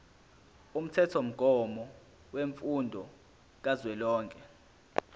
umthethomgomo wemfundo kazwelonke